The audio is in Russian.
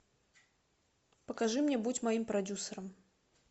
покажи мне будь моим продюсером